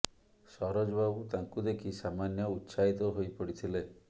ସରୋଜ ବାବୁ ତାଙ୍କୁ ଦେଖି ସାମାନ୍ୟ ଉତ୍ସାହିତ ହୋଇ ପଡ଼ିଥିଲେ